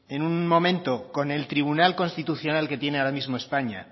en un momento con el tribunal constitucional que tiene ahora mismo españa